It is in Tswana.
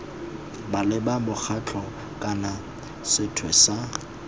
maleba mokgatlho kana sethwe sa